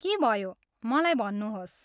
के भयो मलाई भन्नुहोस्